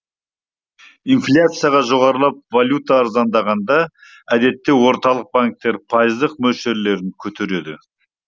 инфляция жоғарылап валюта арзандағанда әдетте орталық банктер пайыздық мөлшерлерін көтереді